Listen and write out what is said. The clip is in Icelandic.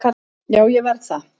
Já, ég verð það